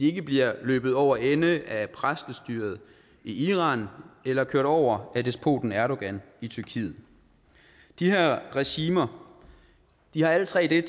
ikke bliver løbet over ende af præstestyret i iran eller kørt over af despoten erdogan i tyrkiet de her regimer har alle tre det